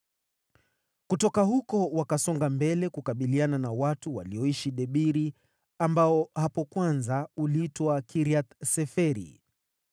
Kutoka huko wakasonga mbele kukabiliana na watu walioishi Debiri (ambao hapo kwanza uliitwa Kiriath-Seferi.)